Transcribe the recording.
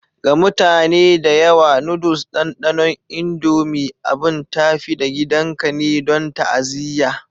Ga mutane da yawa, noodles ɗanɗanon Indomie abin tafi-da-gidanka ne don ta'aziyya.